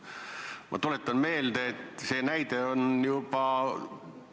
Ma tuletan meelde, et sellise praktika näide meil juba on.